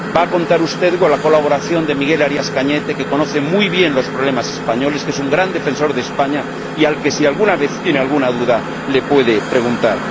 Va a contar usted con la colaboración de Miguel Arias Cañete, que conoce muy bien los problemas españoles, que es un gran defensor de España y al que, si alguna vez tiene alguna duda, le puede preguntar.